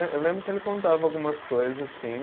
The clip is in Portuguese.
Eu lembro que ele contava algumas coisas, sim.